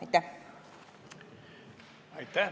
Aitäh!